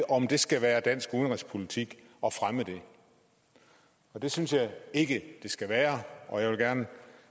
om det skal være dansk udenrigspolitik at fremme det det synes jeg ikke at det skal være og jeg vil gerne